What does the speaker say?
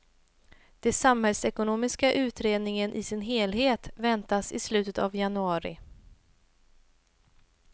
Den samhällsekonomiska utredningen i sin helhet väntas i slutet av januari.